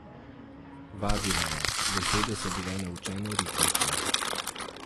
Vadila je, besede so bile naučeno ritmične.